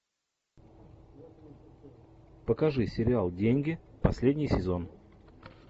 покажи сериал деньги последний сезон